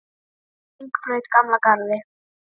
Hringbraut Gamla Garði